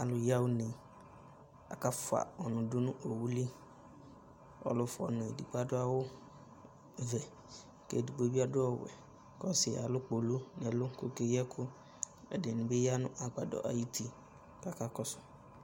Alʋ yaɣa une, akafʋa ɔnʋ dʋ nʋ owu li, ɔlʋ fʋa ɔnʋ edigbo adʋ awʋ vɛ, kʋ edigbo bɩ adʋ ɔwɛ, kʋ ɔsɩ alʋ kpolu kʋ okeyi ɛkʋ Ɛdɩnɩ bɩ ya nʋ agbadɔ ayʋ uti kʋ akakɔsʋ